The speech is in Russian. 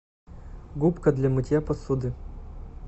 губка для мытья посуды